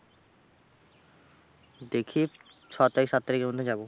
দেখি ছ তারিখ সাত তারিখের মধ্যে যাবো।